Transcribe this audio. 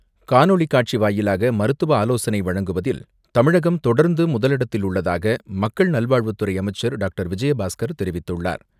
காணொலி காட்சி வாயிலாக மருத்துவ ஆலோசனை முதலிடத்தில் உள்ளதாக மக்கள் நல்வாழ்வுத்துறை தெரிவித்துள்ளார்.